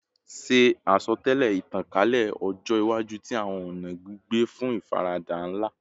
Ṣe asọtẹlẹ itankalẹ ọjọ iwaju ti awọn ọna gbigbe fun ifarada nla